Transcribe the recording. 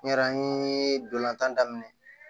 N yɛrɛ n ye dolantan daminɛ